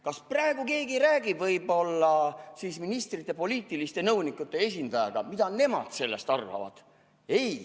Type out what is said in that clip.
Kas praegu keegi räägib ministrite poliitiliste nõunike esindajaga, mida nemad sellest arvavad?